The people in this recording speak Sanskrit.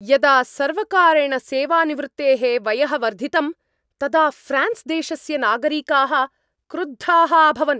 यदा सर्वकारेण सेवानिवृत्तेः वयः वर्धितं तदा ऴ्रान्स् देशस्य नागरिकाः क्रुद्धाः अभवन्।